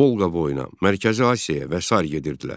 Volqaboyuna, Mərkəzi Asiyaya və sair gedirdilər.